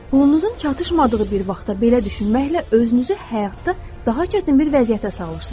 Pulunuzun çatışmadığı bir vaxtda belə düşünməklə özünüzü həyatda daha çətin bir vəziyyətə salırsınız.